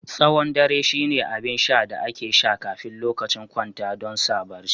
Tsawon dare shine abin sha da ake sha kafin lokacin kwanta don sa barci